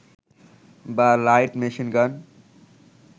বা light machine gun